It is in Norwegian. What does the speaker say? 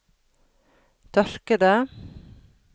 tørkede